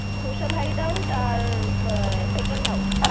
Social Hideout আর আহ Second House ।